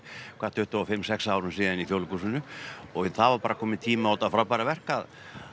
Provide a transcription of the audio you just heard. tuttugu og fimm sex árum síðan í Þjóðleikhúsinu og það var bara kominn tími á þetta frábæra verk að